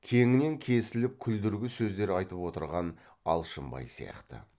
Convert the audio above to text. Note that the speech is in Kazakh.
кеңінен кесіліп күлдіргі сөздер айтып отырған алшынбай сияқты